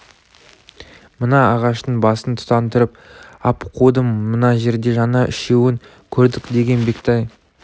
мына ағаштың басын тұтандырып ап қудым мына жерде жаңа үшеуін көрдік деген бектай